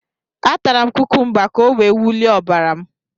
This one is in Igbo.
A tara m kukumba ka o wee wulie ọbara m